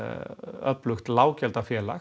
öflugt